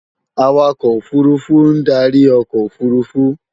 Awakọ̀ òfurufú ń darí ọkọ̀ òfurufú